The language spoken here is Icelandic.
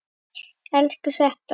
Elsku Setta.